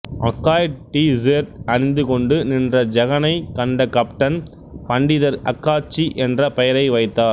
அக்காய் T shirt அணிந்து கொண்டு நின்ற ஜெகனைக் கண்ட கப்டன் பண்டிதர் அக்காச்சி என்ற பெயரை வைத்தார்